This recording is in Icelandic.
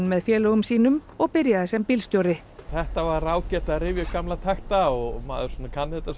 með félögum sínum og byrjaði sem bílstjóri þetta var ágætt að rifja upp gamla takta og maður svo sem kann þetta